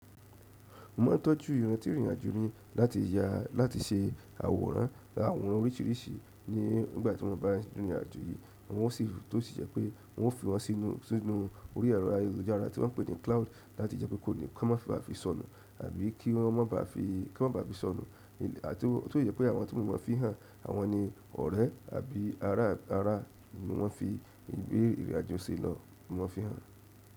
Mo ma ń tọ́jú iran tí ìrìnàjò mí láti ya láti ṣe àwòrán àwọn oríṣìíríṣìí ní ìgbà tí wọ́n bá ń rìnrìn àjò yìí, wọn sì tó sì jẹ́ pé wọn ó fi wọn sínú sínú orí ẹ̀rọ ayélujára tí wọ́n pè ní cloud láti jẹ́ pé kò ní kí wọ́n má ba à fi sọnù àbí kí wọ́n má ba à fi kí wọ́n má ba à fi sọnù àti ó tó si jẹ́ pé àwọn tí mo maa n fi hàn àwọn ni ọ̀rẹ́ àbí ará ará ni wọ́n fi ìwé ìrìnàjò ṣe lọ ni wọ́n fi hàn.